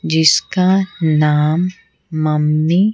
जिसका नाम मम्मी ।